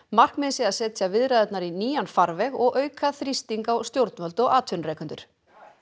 markmiðið sé að setja viðræðurnar í nýjan farveg og auka þrýsting á stjórnvöld og atvinnurekendur